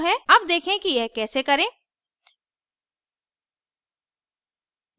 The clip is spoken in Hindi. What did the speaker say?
अब देखें कि यह कैसे करें